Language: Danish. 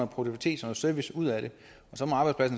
produktivitet og service ud af det